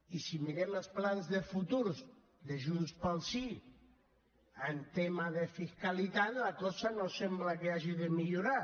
i si mirem els plans de futur de junt pel sí en tema de fiscalitat la cosa no sembla que hagi de millorar